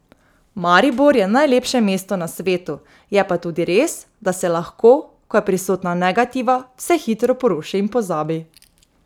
Maribor je najlepše mesto na svetu, je pa tudi res, da se lahko, ko je prisotna negativa, vse hitro poruši in pozabi.